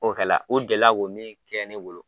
O kɛla . U delila k'o min kɛ ne bolo